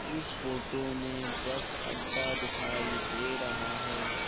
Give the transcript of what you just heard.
इस फोटो में बस अड्डा दिखाई दे रहा है।